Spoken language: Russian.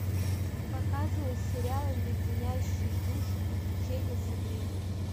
показывай сериал леденящие душу приключения сабрины